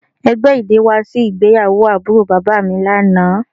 Ẹgbẹ idẹ wa si igbeyawo aburo baba mi lana